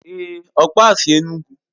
Èé, ọkpa a sy Enugu.